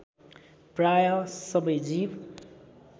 प्रायः सबै जीव